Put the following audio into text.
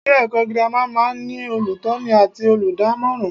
Ilé èkó girama máa n ní olùtóni àti olùdámòràn